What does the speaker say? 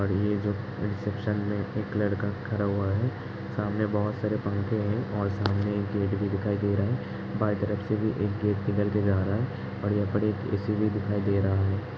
और ये जो रिसेप्शन पे एक लड़का खड़ा हुआ है। सामने बहुत सारे पंखे है और सामने एक गेट भी दिखाई दे रहा है। बाई तरफ से भी एक गेट निकल के जा रहा है और यहाँ पर एक एसी भी दिखाई दे रहा है।